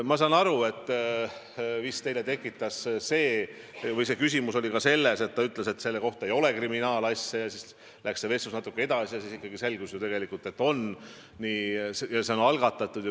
Ma saan aru, et küsimus oli ka selles, et ta ütles, et seda kriminaalasja ei ole, aga siis läks vestlus natuke edasi ja selgus, et ikkagi on, et see on algatatud.